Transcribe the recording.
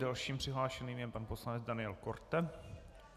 Dalším přihlášeným je pan poslanec Daniel Korte.